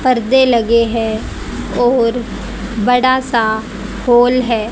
परदे लगे हैं और बड़ा सा होल है।